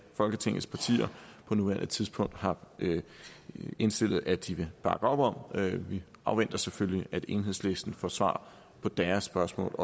folketingets partier på nuværende tidspunkt har indstillet at de vil bakke op om vi afventer selvfølgelig at enhedslisten får svar på deres spørgsmål